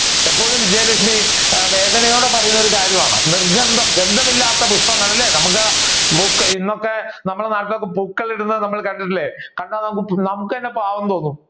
ഇപ്പോഴും വിജയലക്ഷ്മി വേദനയോടെ പറയുന്ന കാര്യമാണ് നിർഗന്ധം ഗന്ധം ഇല്ലാത്ത പുഷ്പങ്ങൾ അല്ലെ നമ്മുക്ക് ഇന്നൊക്കെ നമ്മുടെ നാട്ടിൽ പൂക്കളം ഇടുന്നത് കണ്ടിട്ടില്ലേ കണ്ടാൽ നമ്മുക്ക് തന്നെ പാവം തോന്നും